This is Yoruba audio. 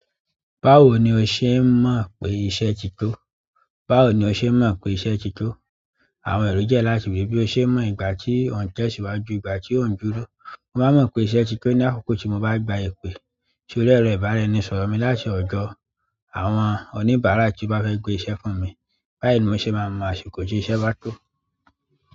Báwo ni o ṣe mọ̀ pé iṣẹ́ ti tó? Báwo ni o ṣe mọ̀ pé iṣẹ́ ti tó? Àwọn ẹ̀rọ jẹ́ láti wí bí o ṣe mọ̀ ìgbà tí ó ń tẹ̀síwájú, ìgbà tí ó ń dúró. Mo maa mo pe iṣẹ́ ti de ni akoko ti mo ba gba ipe. Torí ẹ̀rọ ìbáraẹnisọ̀rọ̀ mi láti ọ̀jọ̀, àwọn oníbàárà tí ó bá fẹ́ gbé iṣẹ́ fún mi, báyìí ni mo ṣe máa mọ̀ àsìkò tí iṣẹ́ bá tó.